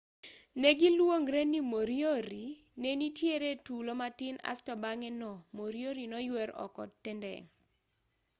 negiluongre ni moriori nenitiere tulo matin asto bang'e no moriori noywer oko tendeng'